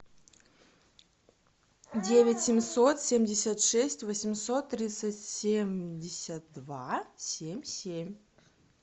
девять семьсот семьдесят шесть восемьсот тридцать семьдесят два семь семь